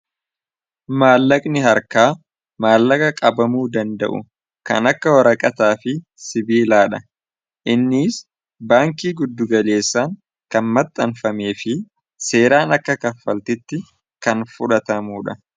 maallaqni harkaa maallaqa qabamuu danda'u kan akka haraqataa fi sibiilaa dha innis baankii guddugaleessaan kan maxxanfamee fi seeraan akka kaffaltitti kan fudhatamuu dha